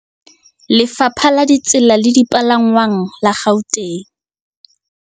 Lefapha la Ditsela le Dipalangwang la Gauteng